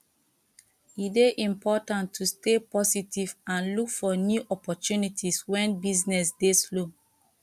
e dey important to stay positive and look for new opportunities wen business dey slow